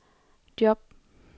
job